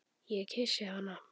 Ég kyssi hana.